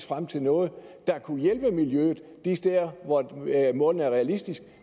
frem til noget der kunne hjælpe miljøet de steder hvor målene er realistiske